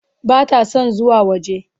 Bata son zuwa waje.